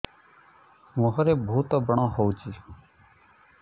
ମୁଁହରେ ବହୁତ ବ୍ରଣ ହଉଛି